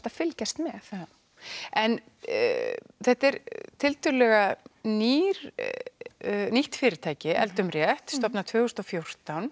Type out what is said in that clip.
að fylgjast með en þetta er tiltölulega nýtt nýtt fyrirtæki eldum rétt stofnað tvö þúsund og fjórtán